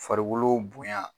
Farikolow bonya